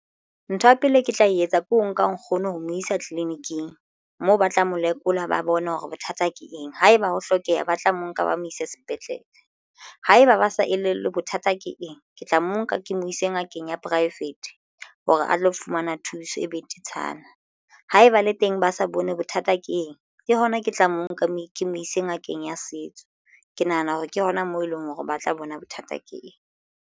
Ntho ya pele ke tla etsa ke ho nka nkgono ho mo isa tleleniking moo ba tla mo lekola ba bone hore bothata ke eng haeba ho hlokeha ba tla mo nka ba mo ise sepetlele. Haeba ba sa elellwe bothata ke eng ke tla mo nka ke mo ise ngakeng keng ya poraefete hore a tlo fumana thuso e betetshana haeba le teng ba sa bone bothata ke eng. Ke hona ke tla mo nka ke mo ise ngakeng ya setso. Ke nahana hore ke hona moo eleng hore ba tla bona bothata ke eng.